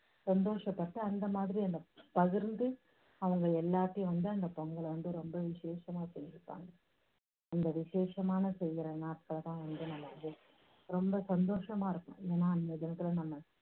சந்தோஷப்பட்டு அந்த மாதிரி அதை பகிர்ந்து அவங்க எல்லாத்தையும் வந்து அந்த பொங்கலை ரொம்ப விஷேஷமா செஞ்சுப்பாங்க. அந்த விஷேஷமான செய்யுற நாட்கள் வந்து நம்ம வந்து ரொம்ப சந்தோஷமா இருக்கும். ஏன்னா அந்த தினத்துல நம்ம